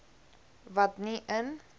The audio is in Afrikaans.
wat nie in